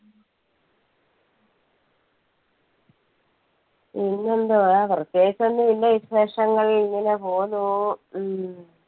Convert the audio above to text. പിന്നെന്തുവാ പ്രത്യേകിച്ച് ഒന്നും ഇല്ല. വിശേഷങ്ങൾ ഇങ്ങനെ പോകുന്നു ഹും